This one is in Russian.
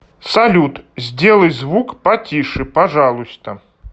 салют сделай звук потише пожалуйста